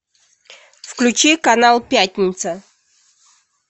включи канал пятница